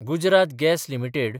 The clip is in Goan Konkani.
Gujarat gas limited